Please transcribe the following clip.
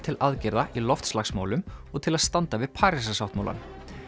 til aðgerða í loftslagsmálum og til að standa við Parísarsáttmálann